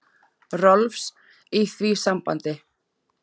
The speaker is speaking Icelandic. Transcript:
Rolfs, í því sambandi.